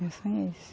Meu sonho é esse.